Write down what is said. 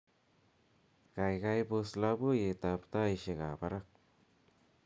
gaigai pos loboiyet ab taishiek ab barak